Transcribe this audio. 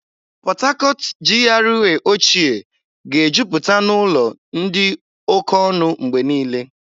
Port Harcourt GRA ochịẹ́ ga-ejupụta n'ụlọ dị oke ọnụ mgbe niile.